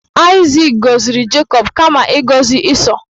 Aịzik gọziri Jacob kama ịgọzi Ịsọ